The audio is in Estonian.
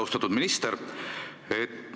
Austatud minister!